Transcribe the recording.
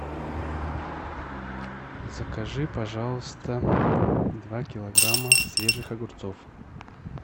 закажи пожалуйста два килограмма свежих огурцов